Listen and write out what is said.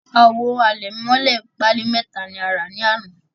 Awo alemole pali meta la ra ni ana